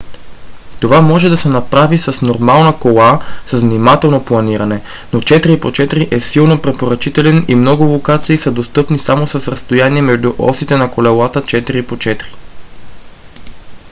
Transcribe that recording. това може да се направи в нормална кола с внимателно планиране но 4х4 е силно препоръчителен и много локации са достъпни само с разстояние между осите на колелата 4х4